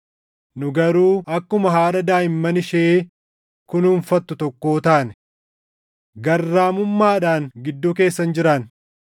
nu garuu akkuma haadha daaʼimman ishee kunuunfattu tokkoo taane. Garraamummaadhaan gidduu keessan jiraanne.